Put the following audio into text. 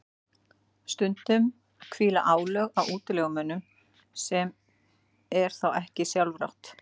stundum hvíla álög á útilegumönnunum sem er þá ekki sjálfrátt